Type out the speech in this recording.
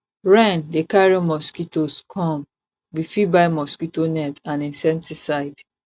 rain dey carry mosquitoes come we fit buy mosquito nets and insecticide